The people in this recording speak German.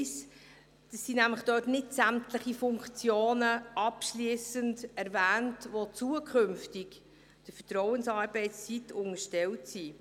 1. Dort sind nämlich nicht sämtliche Funktionen abschliessend erwähnt, die künftig der Vertrauensarbeitszeit unterstellt sein sollen.